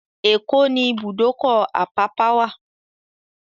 Èkó ní ibùdókọ̀-Àpápá wà.